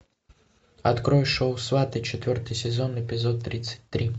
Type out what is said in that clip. открой шоу сваты четвертый сезон эпизод тридцать три